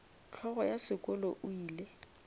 hlogo ya sekolo o ile